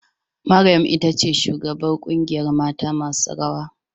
Maryam itace shugabar kungiyar mata masu rawa.